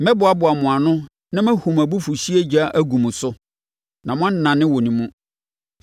Mɛboaboa mo ano na mahu mʼabufuhyeɛ ogya agu mo so, na moanane wɔ ne mu.